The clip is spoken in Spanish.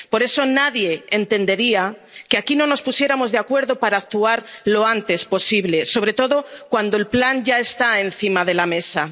Por eso, nadie entendería que aquí no nos pusiéramos de acuerdo para actuar lo antes posible, sobre todo cuando el Plan ya está encima de la mesa.